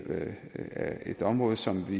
er et område som vi